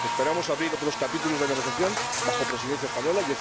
Esperamos abrir otros capítulos de negociación durante la Presidencia española.